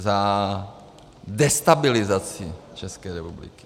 Za destabilizaci České republiky.